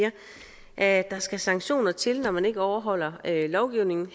at der skal sanktioner til når man ikke overholder lovgivningen